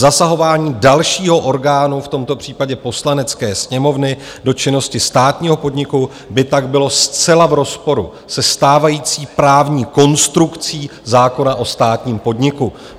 Zasahování dalšího orgánu, v tomto případě Poslanecké sněmovny, do činnosti státního podniku by tak bylo zcela v rozporu se stávající právní konstrukcí zákona o státním podniku.